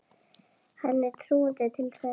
Henni er trúandi til þess.